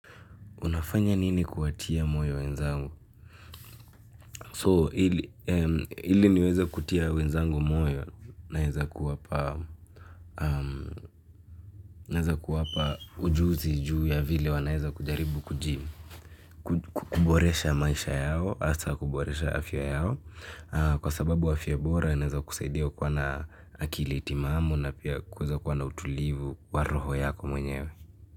Unafanya nini kuwatia moyo wenzangu? So, ili niweze kutia wenzangu moyo, naweza kuwapa naeza kuwapa ujuzi juu ya vile wanaeza kujaribu kujimu kuboresha maisha yao, hasa kuboresha afya yao. Kwa sababu afya bora, inaweza kusaidia kuwa na akili timamu na pia kuweza kuwa na utulivu wa roho yako mwenyewe.